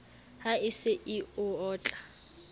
ha e se e otla